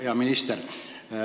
Hea minister!